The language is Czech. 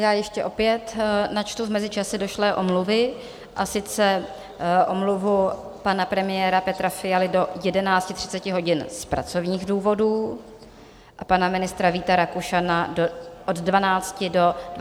Já ještě opět načtu v mezičase došlé omluvy, a sice omluvu pana premiéra Petra Fialy do 11.30 hodin z pracovních důvodů a pana ministra Víta Rakušana od 12 do 23.59 hodin z pracovních důvodů.